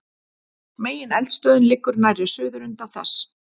megineldstöðin liggur nærri suðurenda þess